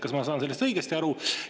Kas ma saan sellest õigesti aru?